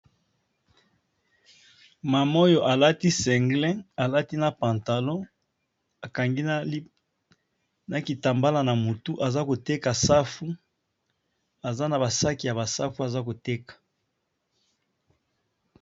Maman oyo alati single, alati pantalon, akangi na kitambala na motu, aza koteka safu, aza na ba saki ya ba safu aza koteka.